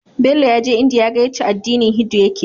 Bello yaje india yaga yace addini hindu yake